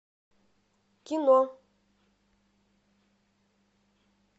кино